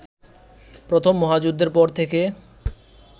প্রথম মহাযুদ্ধের পর থেকে